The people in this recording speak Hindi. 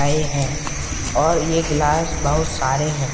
आये है और यह गलास बहुत सारे है।